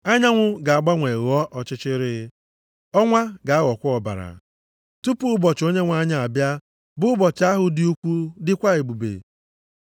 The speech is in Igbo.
Anyanwụ ga-agbanwe ghọọ ọchịchịrị, ọnwa ga-aghọkwa ọbara, tupu ụbọchị Onyenwe anyị abịa, bụ ụbọchị ahụ dị ukwu dịkwa ebube.